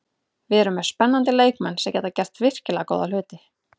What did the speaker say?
Við erum með spennandi leikmenn sem geta gert virkilega góða hluti.